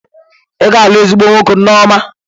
Ị ga-alụ ezigbo nwoke, Nneoma.